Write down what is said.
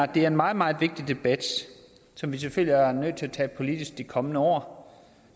det er en meget meget vigtig debat som vi selvfølgelig er nødt til at tage politisk de kommende år